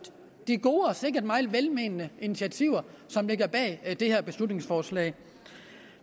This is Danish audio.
de gode og sikkert meget velmente initiativer som ligger bag det her beslutningsforslag